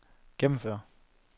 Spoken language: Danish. gennemføre